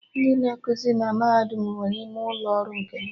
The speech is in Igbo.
Ndị na ekuzi na Mahadum nwere ime ụlọ ọrụ nke ha